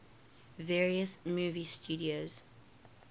various movie studios